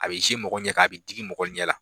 A bɛ mɔgɔ ɲɛ kan a bɛ digi mɔgɔ ɲɛ la.